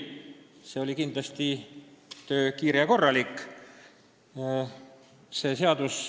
See oli kindlasti töö kiire ja korralik.